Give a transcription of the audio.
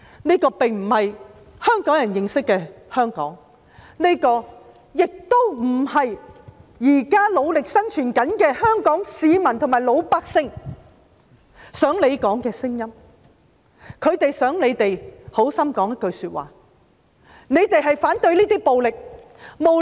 這並非香港人認識的香港，這亦不是現時努力生存的香港市民想說的聲音，他們很希望議員說反對暴力。